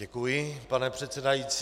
Děkuji, pane předsedající.